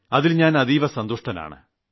അതിൽ ഞാൻ അതീവ സന്തുഷ്ടനാണ്